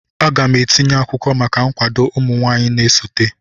Aga m etinye akwụkwọ maka nkwado ụmụ nwanyị na-esote.